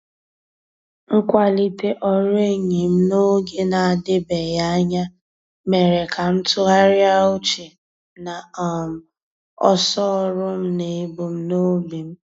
Mkwalite ọrụ enyi m n'oge na-adịbeghị anya, mere ka m tụgharịa uche na um ọsọ ọrụ m na ebumnobi m.